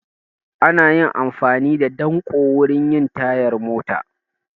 Ana amfani da danƙo wurin yin tayar mota